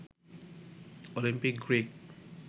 Olympic green